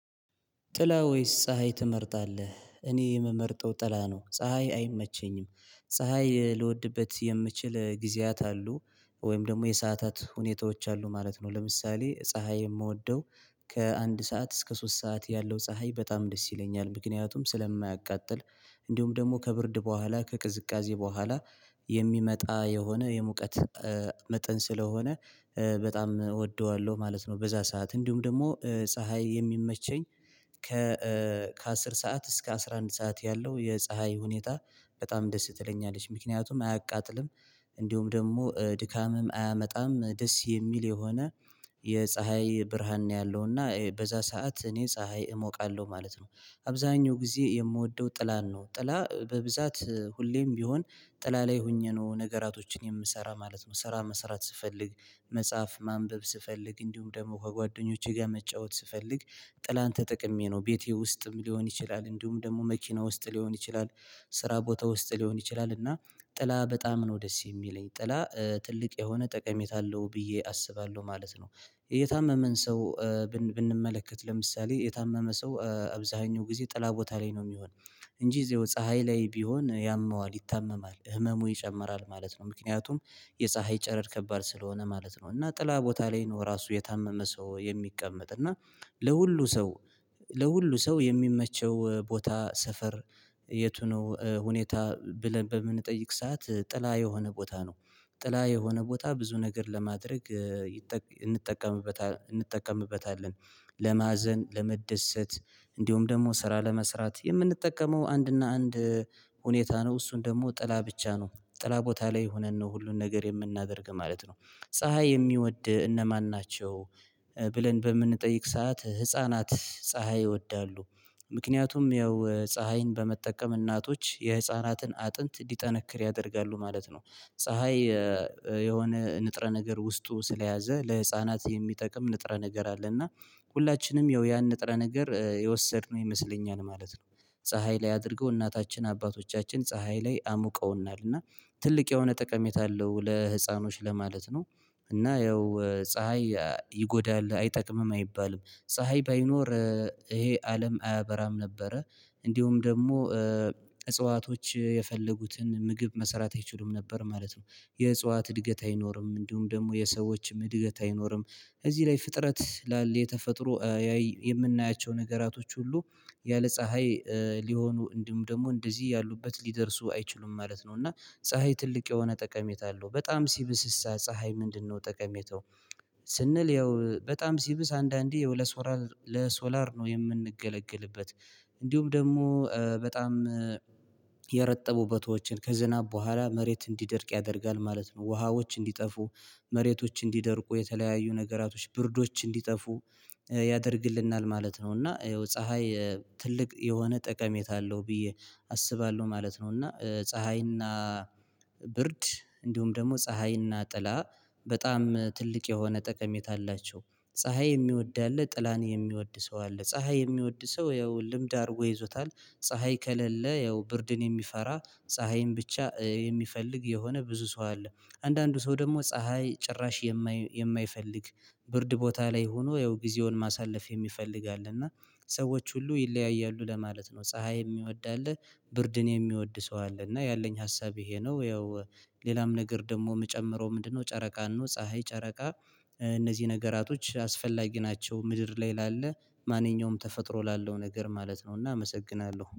ጥላ ወይስ ፀሀይ ትመርጣለህ? እኔ የምመርጠው ጥላ ነው ፀሀይ አይመቸኝም ፀሀይ ልወድበት የምችል ጊዜያት አሉ፤ ወይም ደግሞ የሰአታት ሁኔታዎች አሉ ማለት ነው ለምሳሌ ፀሀይ የምወደው ከአንድ ሰዓት እስከ ሶስት ሰዓት ያለው ፀሀይ በጣም ደስ ይለኛል ምክንያቱም ስለማያቃጥል እንዲሁም ደግሞ ከብርድ በኋላ፣ ከቅዝቃዜ በኋላ የሚመጣ የሆነ የሙቀት መጠን ስለሆነ በጣም እወደዋለሁ ማለት ነው በዛ ሰዓት እንዲሁም ደግሞ ፀሀይ የሚመቸኝ፤ ከ ከአስር ሰዓት እስከ አስራ አንድ ሰዓት ያለው የፀሀይ ሁኔታ በጣም ደስ ትለኛለች ምክንያቱም አያቃጥልም፤ እንዲሁም ደግሞ ድካምም አያመጣም ደስ የሚል የሆነ የፀሀይ ብርሃን ነው ያለው እና በዛ ሰዓት እኔ ፀሀይ እሞቃለሁ ማለት ነው አብዛኛው ጊዜ የምወደው ጥላን ነው ጥላ በብዛት ሁሌም ቢሆን ጥላ ላይ ሆኜ ነው ነገራቶችን የምሰራ ማለት ነው፤ ስራ መስራት ስፈልግ መጽሐፍ ማንበብ ስፈልግ እንዲሁም ደግሞ ከጓደኞቼ ጋር መጫወት ስፈልግ ጥላን ተጠቅሜ ነው ቤቴ ውስጥም ሊሆን ይችላል እንዲሁም ደግሞ መኪና ውስጥ ሊሆን ይችላል ስራ ቦታ ውስጥ ሊሆን ይችላል እና ጥላ በጣም ነው ደስ የሚለኝ ጥላ ትልቅ የሆነ ጠቀሜታ አለው ብዬ አስባለሁ ማለት ነው፤ የታመመን ሰው ብንመለከት ለምሳሌ የታመመ ሰው አብዛኛው ጊዜ ጥላ ቦታ ላይ ነው የሚሆነው እንጂ እዜው ፀሀይ ላይ ቢሆን ያመዋል ይታመማል ህመሙ ይጨምራል ማለት ነው ምክንያቱም የፀሀይ ጨረር ከባድ ስለሆነ ማለት ነው እና ጥላ ቦታ ላይ ነው ራሱ የታመመ ሰው የሚቀመጥ እና ለሁሉ ሰው ለሁሉ ሰው የሚመቸው ቦታ ሰፈር የቱ ነው ሁኔታ ብለን በምንጠይቅ ሰዓት ጥላ የሆነ ቦታ ነው ጥላ የሆነ ቦታ ብዙ ነገር ለማድረግ እንጠቀምበታለን ለማዘን ለመደሰት እንዲሁም ደግሞ ስራ ለመስራት የምንጠቀመው አንድና አንድ ሁኔታ ነው እሱን ደግሞ ጥላ ብቻ ነው ጥላ ቦታ ላይ ሆነን ነው ሁሉን ነገር የምናደርግ ማለት ነው ፀሀይ የሚወድ እነማን ናቸው ብለን በምንጠይቅ ሰዓት ህፃናት ፀሀይ ይወዳሉ ምክንያቱም ያው ፀሀይን በመጠቀም እናቶች የህፃናትን አጥንት እንዲጠነክር ያደርጋሉ ማለት ነው፤ ፀሀይ የሆነ ንጥረ ነገር ውስጡ ስለያዘ ለህፃናት የሚጠቅም ንጥረ ነገር አለ እና ሁላችንም ያው ንጥረ ነገር የወሰድነው ይመስለኛል ማለት ነው ፀሀይ ላይ አድርገው እናታችን አባቶቻችን ፀሀይ ላይ አሙቀውናል እና ትልቅ የሆነ ጠቀሜታ አለው ለህፃኖች ለማለት ነው። እና ያው ፀሀይ ይጎዳል አይጠቅምም አይባልም ፀሀይ ባይኖር ይሄ አለም አያበራም ነበረ እንዲሁም ደግሞ እጽዋቶች የፈለጉትን ምግብ መሰራት አይችሉም ነበር ማለት ነ፤ የእጽዋት እድገት አይኖርም እንዲሁም ደግሞ የሰዎችም እድገት አይኖርም፤ እዚህ ላይ ፍጥረት ላለ የተፈጥሮ የምናያቸው ነገራቶች ሁሉ ያለ ፀሀይ ሊሆኑ እንደውም ደግሞ እንደዚህ ያሉበት ሊደርሱ አይችሉም ማለት ነው እና ፀሀይ ትልቅ የሆነ ጠቀሜታ አለው በጣም ሲብስሳ ፀሀይ ምንድነው ጠቀሜታው ስንል ያው በጣም ሲብስ አንዳንዴ ለሶላር ነው የምንገለግልበት እንዲሁም ደግሞ በጣም የረጠቡ ቦቶዎችን ከዝናብ በኋላ መሬት እንዲደርቅ ያደርጋል ማለት ነው፤ ውሃዎች እንዲጠፉ፣ መሬቶች እንዲደርቁ የተለያዩ ነገራቶች ብርዶች እንዲጠፉ ያደርግልናል ማለት ነው እና ፀሀይ ትልቅ የሆነ ጠቀሜታ አለው ብዬ አስባለሁ ማለት ነው እና ፀሀይና ብርድ እንዲሁም ደግሞ ፀሀይና ጥላ በጣም ትልቅ የሆነ ጠቀሜታ አላቸው። ፀሀይ የሚወድ አለ ጥላን የሚወድ ሰው አለ ፀሀይ የሚወድ ሰው ያው ልምድ አርጎ ይዞታል ፀሀይ ከሌለ ያው ብርድን የሚፈራ ፀሀይን ብቻ የሚፈልግ የሆነ ብዙ ሰው አለ አንዳንዱ ሰው ደግሞ ፀሀይ ጭራሽ የማይፈልግ ብርድ ቦታ ላይ ሆኖ ያው ጊዜውን ማሳለፍ የሚፈልግ አለ እና ሰዎች ሁሉ ይለያያሉ ለማለት ነው ፀሀይ የሚወድ አለ ብርድን የሚወድ ሰው አለ እና ያለኝ ሀሳብ ይሄ ነው ያው ሌላም ነገር ደግሞ የምጨምረው ምንድነው ጨረቃን ነው፤ ፀሀይ ጨረቃ እነዚህ ነገራቶች አስፈላጊ ናቸው ምድር ላይ ላለ ማንኛውም ተፈጥሮ ላለው ነገር ማለት ነው እና አመሰግናለሁ።